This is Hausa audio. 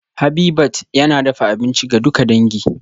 Habitat yana dafa abinci ga duka dangi